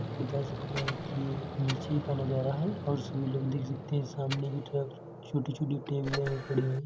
बता सकते हैं कि ये एक नीचे का नज़ारा है और इसमें लोग दिख सकते है। सामने भी थोड़ा छोटी छोटी टेबले भी पड़ी हैं।